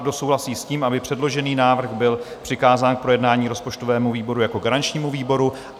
Kdo souhlasí s tím, aby předložený návrh byl přikázán k projednání rozpočtovému výboru jako garančnímu výboru?